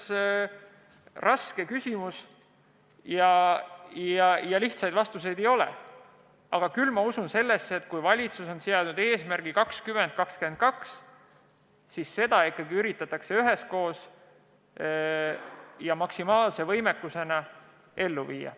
See on raske küsimus ja lihtsaid vastuseid ei ole, aga ma usun, et kui valitsus on seadnud eesmärgiks 2022, siis see ikkagi üritatakse üheskoos ja maksimaalse võimekusega ellu viia.